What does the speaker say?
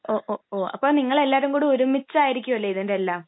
ഓ, ഒ..ഓ..അപ്പൊ നിങ്ങളെല്ലാവരും കൂടെ ഒരുമിച്ച് ആയിരിക്കുമല്ലേ ഇതിന്റെ എല്ലാം?